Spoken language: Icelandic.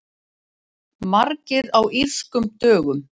Margir á Írskum dögum